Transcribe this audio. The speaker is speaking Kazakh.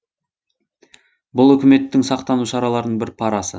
бұл үкіметтің сақтану шараларының бір парасы